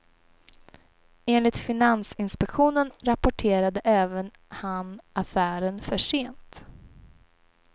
Enligt finansinspektionen rapporterade även han affären för sent.